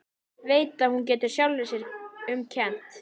Veit að hún getur sjálfri sér um kennt.